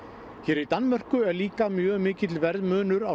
í Danmörku er líka mjög mikill verðmunur á